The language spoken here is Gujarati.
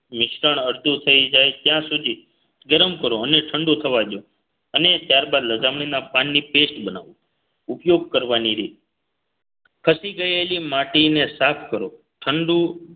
મિશ્રણ અડધું થઈ જાય ત્યાં સુધી ગરમ કરો અને ઠંડુ થવા દોયો અને ત્યારબાદ લજામણીના પાનની paste બનાવો ઉપયોગ કરવાની રીત ખસી ગયેલી માટીને સાફ કરો ઠંડુ